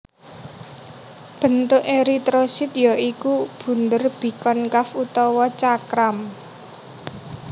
Bentuk eritrosit ya iku bunder bikonkaf utawa cakram